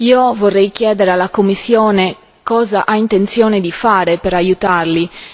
Io vorrei chiedere alla Commissione cosa ha intenzione di fare per aiutarli.